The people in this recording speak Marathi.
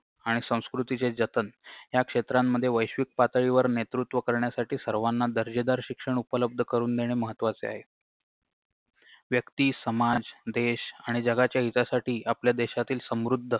आणि संस्कृतीचे जतन या क्षेत्रांमध्ये वैश्विक पातळीवर नेतृत्व करण्यासाठी सर्वाना दर्जेदार शिक्षण उपलब्ध करून देणे महत्वाचे आहे व्यक्ती समाज देश आणि जगाच्या हितासाठी आपल्या देशातील समृद्ध